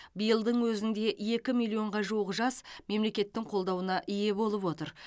биылдың өзінде екі миллионға жуық жас мемлекеттің қолдауына ие болып отыр